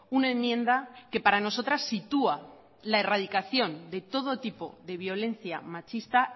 una enmienda que para nosotras sitúa la erradicación de todo tipo de violencia machista